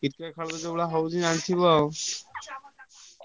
Cricket ଯୋଉଭଳିଆ ହଉଛି ଜାଣିଥିବ ଆଉ।